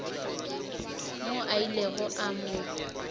moo a ilego a mo